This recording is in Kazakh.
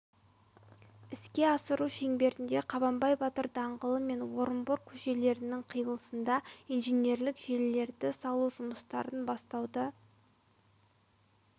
іске асыру шеңберінде қабанбай батыр даңғылы мен орынбор көшелесінің қиылысында инженерлік желілерді салу жұмыстарын бастауды